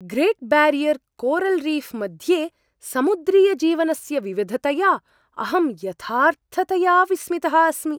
Great Barrier coral reef मध्ये समुद्रीयजीवनस्य विविधतया अहं यथार्थतया विस्मितः अस्मि।